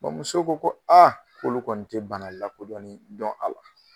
muso ko ko k'olu kɔni te bana lakodɔnnen dɔn a la.